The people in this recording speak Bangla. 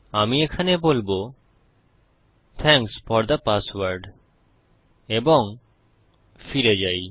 আমি এখানে বলবো থ্যাংকস ফোর থে পাসওয়ার্ড এবং ফিরে যাই